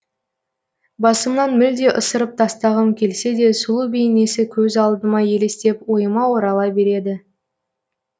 басымнан мүлде ысырып тастағым келсе де сұлу бейнесі көз алдыма елестеп ойыма орала береді